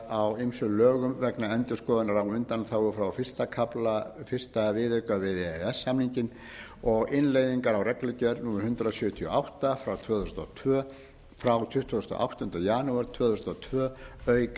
á ýmsum lögum vegna endurskoðunar á undanþágum frá fyrsta kafla fyrsta viðauka við e e s samninginn og innleiðingar á reglugerð evrópuþingsins og ráðsins númer hundrað sjötíu og átta tvö þúsund og tvö frá tuttugasta og áttundi janúar tvö þúsund og tvö auk